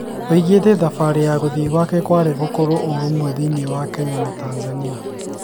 Aũgite thabarĩ ya kũthii gwake kwarĩ gũkorwo ũrũmwe thĩini wa Kenya na Tanzania